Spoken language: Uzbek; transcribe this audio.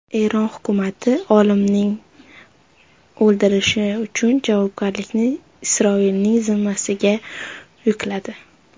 Eron hukumati olimning o‘ldirilishi uchun javobgarlikni Isroilning zimmasiga yukladi.